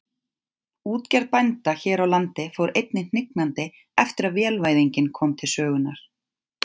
Útgerð bænda hér á landi fór einnig hnignandi eftir að vélvæðingin kom til sögunnar.